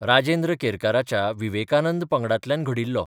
राजेंद्र केरकाराच्या विवेकानंद पंगडांतल्यान घडिल्लो.